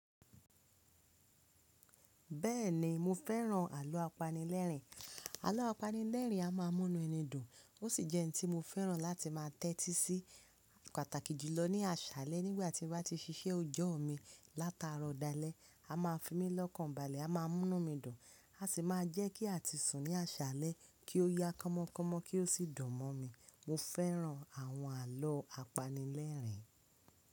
Bẹ́ẹ̀ni mo fẹ́ràn àlọ́ apanilẹ́rìn. Àlọ́ apanilẹ́rìn a máa mú nú ẹni dùn, ó sì jẹ́ hin tí mo fẹ́ràn láti máa tẹ́tí sí pàtàkì jùlọ ní àṣálẹ́ nígbà tí mo bá ti ṣíṣe ọjọ́ mi látaro dalẹ̀, a máa fi mí lọ́kàn balẹ̀, a má a mú nu mi dùn, a sì máa jẹ́ kí à ti sùn ní àṣálẹ́ kí ó yá kọ́mọ́kọ́mọ́ kí ó sì dùn mọ́ mi. Mo fẹ́ràn àwọn àlọ́ apanilẹ́rìn.